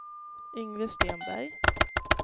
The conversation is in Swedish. Yngve Stenberg